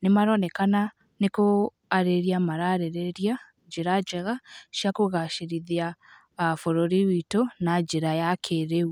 Nĩ maronekana nĩ kũarĩrĩria mararĩrĩria njĩra njega, cia kũgacĩrithia bũrũri wĩtũ na njĩra ya kĩrĩu.